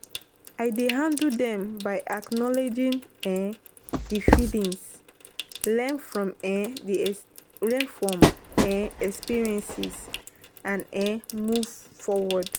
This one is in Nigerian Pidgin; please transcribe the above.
I dey handle dem by acknowledging um di feelings, learn from um experiences and um move forward.